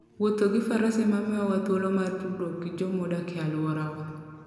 Wuodho gi faras emamiyowa thuolo mar tudore gi joma odak e alworawa.